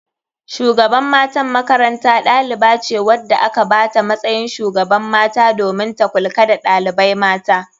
Shugaban matan makaranta ɗalibace wanda aka bata matsayin shugaban mata domin ta kulka da ɗalibai mata.